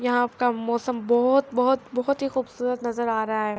ےاحا کا ماءسام باحہت باحہت باحہت حی کحہہبسءرات نزر ا راحا حای۔.